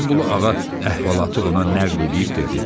Həsənqulu ağa əhvalatı ona nəql eləyib dedi: